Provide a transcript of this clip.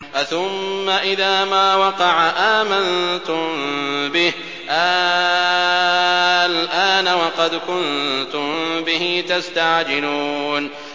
أَثُمَّ إِذَا مَا وَقَعَ آمَنتُم بِهِ ۚ آلْآنَ وَقَدْ كُنتُم بِهِ تَسْتَعْجِلُونَ